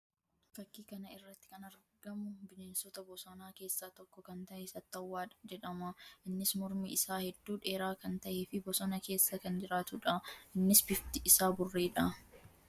Fakkii kana irratti kan argamu bineensota bosonaa keessaa tokko kan tahe sattawwaa jedhama. Innis mormi isaa hedduu dheeraa kan tahee fi bosona keessa kan jiraatuu dha. Innis bifti isaa burree dha.